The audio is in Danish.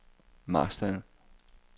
Marstal